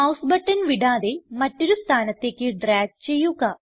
mouse button വിടാതെ മറ്റൊരു സ്ഥാനത്തേക്ക് ഡ്രാഗ് ചെയ്യുക